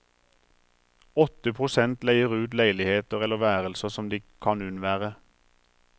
Åtte prosent leier ut leiligheter eller værelser som de kan unnvære.